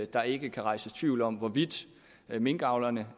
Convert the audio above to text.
der ikke kan rejses tvivl om hvorvidt minkavlerne